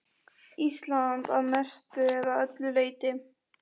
Ísland að mestu eða öllu leyti.